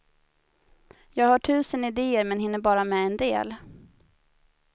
Jag har tusen idéer men hinner bara med en del.